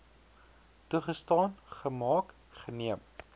toegestaan gemaak geneem